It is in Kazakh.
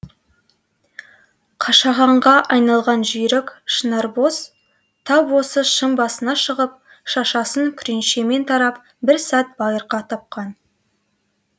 қашағанға айналған жүйрік шынарбоз тап осы шың басына шығып шашасын күреңшемен тарап бір сәт байырқа тапқан